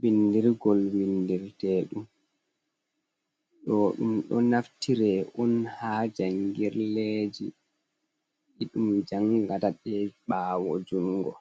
bindirgol vindirtedum. Ɗo ɗum do naftire on ha jangirleji iɗum jangata de ɓawo jungo.